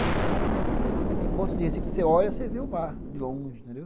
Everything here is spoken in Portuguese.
Então, tem pontos de Recife que você olha e vê o mar de longe, entendeu?